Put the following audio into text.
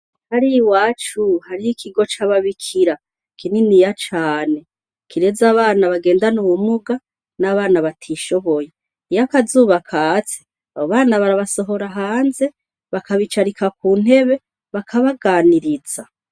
Hariya iwacu hariho ikigo cababikira kininiya cane kireze abana bagendana ubumuga n'abana batishoboye, iyo akazuba katse abo bana barabasohora hanze bakabicarika kuntebe bakabaganiriza.